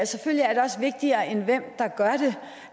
selvfølgelig er det også vigtigere end hvem der gør det